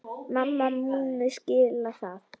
Mamma muni skilja það.